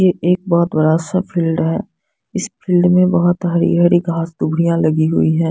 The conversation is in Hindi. ये एक बहोत बड़ा सा फिल्ड है इस फिल्ड में बहोत हरी हरी घास तुड़िया लगी हुई है।